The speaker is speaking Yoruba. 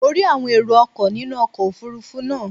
Mo rí àwọn erò ọkọ̀ nínú ọkọ̀ òfurufú náà.